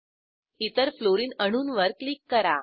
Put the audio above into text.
इतर फ्लोरीन अणूंवर क्लिक करा